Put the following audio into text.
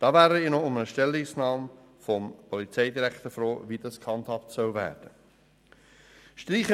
Ich wäre froh um eine Stellungnahme des Polizeidirektors, wie das gehandhabt werden soll.